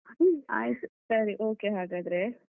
ಆಯ್ತು ಸರಿ okay ಹಾಗಾದ್ರೆ.